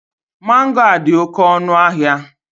Mango a dị oke ọnụ ahịa